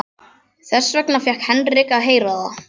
Þess vegna fékk Henrik að heyra það.